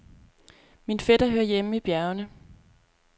Min fætter hører hjemme i bjergene.